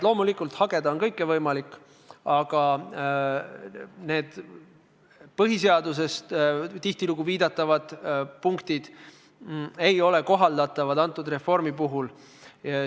Loomulikult, hageda on võimalik kõike, aga need punktid, millele põhiseaduses tihtilugu viidatakse, ei ole selle reformi puhul kohaldatavad.